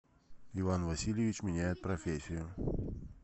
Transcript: иван васильевич меняет профессию